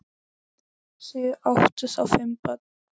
Þau áttu þá fimm börn.